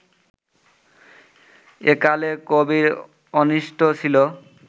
একালে কবির অন্বিষ্ট ছিলো